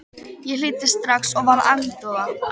Ég hlýddi strax og varð agndofa.